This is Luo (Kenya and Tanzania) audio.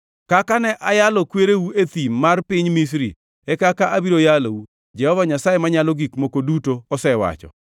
Kaka ne ayalo kwereu e thim mar piny Misri, e kaka abiro yalou, Jehova Nyasaye Manyalo Gik Moko Duto osewacho.